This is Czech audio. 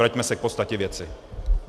Vraťme se k podstatě věci.